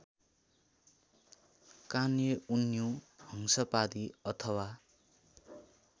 कानेउन्यु हंसपादी अथवा